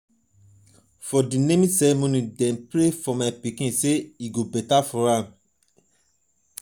for di naming ceremony dem pray for my baby sey e go beta for am.